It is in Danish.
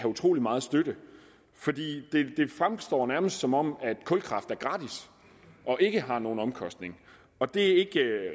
utrolig meget støtte det fremstår nærmest som om kulkraft er gratis og ikke har nogen omkostninger det er ikke